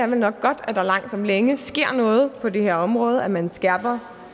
nok er godt at der langt om længe sker noget på det her område at man skærper